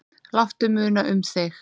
Láttu muna um þig.